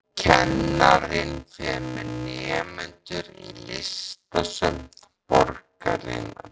Og kennarinn fer með nemendur í listasöfn borgarinnar.